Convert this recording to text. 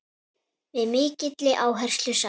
Með mikilli áherslu sagt.